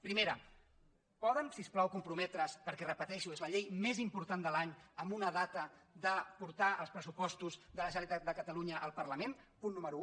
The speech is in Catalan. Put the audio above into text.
primera poden si us plau comprometre’s perquè ho repeteixo és la llei més important de l’any amb una data de portar els pressupostos de la generalitat de catalunya al parlament punt número un